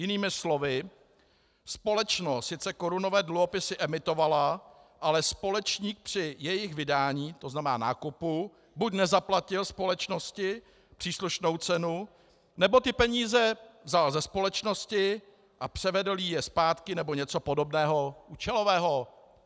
Jinými slovy, společnost sice korunové dluhopisy emitovala, ale společník při jejich vydání, to znamená nákupu, buď nezaplatil společnosti příslušnou cenu, nebo ty peníze vzal ze společnosti a převedl jí je zpátky, nebo něco podobného účelového.